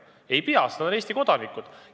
Ei pea, sest nad on Eesti kodanikud.